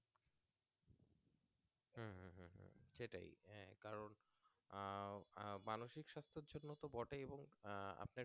হ্যাঁ কারণ আহ আহ মানসিক স্বাস্থ্যের জন্যতো বটেই এবং আহ আপনার